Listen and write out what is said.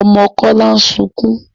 Ọmọ Kọ́lá ń sukún.